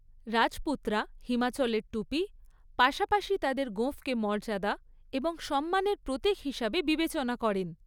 রাজপুতরা হিমাচলের টুপি, পাশাপাশি তাঁদের গোঁফকে মর্যাদা এবং সম্মানের প্রতীক হিসাবে বিবেচনা করেন।